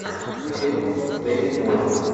фильм с деми мур